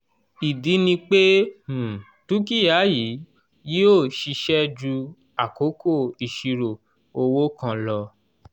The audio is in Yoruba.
ìdí ni pé um dúkìá yìí yìó ṣiṣẹ́ ju àkókò ìṣirò owó kan lo